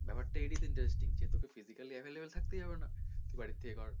ব্যাপার টা এটাই তো interesting যে তোকে physically available থাকতেই হবে না তুই বাড়ির থেকে কর,